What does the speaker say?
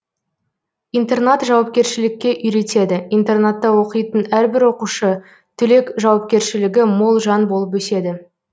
интернат жауапкершілікке үйретеді интернатта оқитын әрбір оқушы түлек жауапкерлшілігі мол жан болып өседі